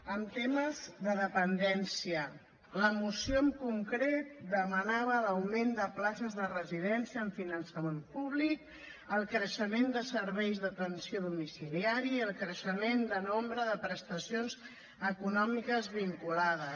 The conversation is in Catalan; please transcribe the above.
en temes de dependència la moció en concret demanava l’augment de places de residència amb finançament públic el creixement de serveis d’atenció domiciliària i el creixement de nombre de prestacions econòmiques vinculades